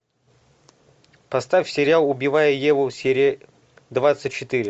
поставь сериал убивая еву серия двадцать четыре